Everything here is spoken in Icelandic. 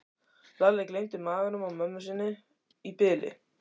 Lalli gleymdi maganum á mömmu sinni í bili.